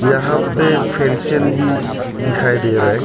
यहां पे फेंसिंग भी दिखाई दे रहा है।